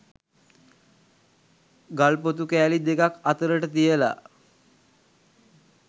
ගල් ‍පොතු කෑලි දෙකක් අතරට තියලා